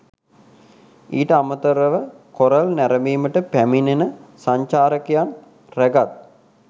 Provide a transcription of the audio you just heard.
ඊට අමතරව කොරල් නැරඹීමට පැමිණෙන සංචාරකයන් රැගත්